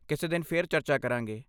ਕਿਸੇ ਦਿਨ ਫਿਰ ਚਰਚਾ ਕਰਾਂਗੇ।